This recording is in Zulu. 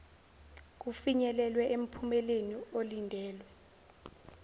kufinyelelwe emphumeleni olindelwe